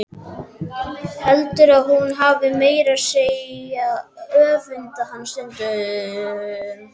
Heldur að hún hafi meira að segja öfundað hana stundum.